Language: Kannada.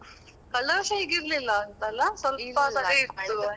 ಕಳೆದವರ್ಷ ಹೀಗಿರ್ಲಿಲ್ಲ ಅಂತ ಅಲ್ಲ? ಸ್ವಲ್ಪವೇ ಇತ್ತು.